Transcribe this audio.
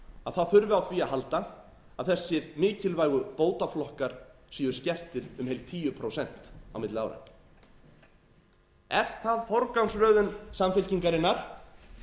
að það þurfi á því að halda að þessir mikilvægu bótaflokkar séu skertir um heil tíu prósent á milli ára er það forgangsröðun samfylkingarinnar